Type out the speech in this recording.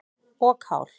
og kál.